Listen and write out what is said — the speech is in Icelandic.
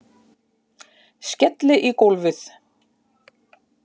Skelli í gólfið.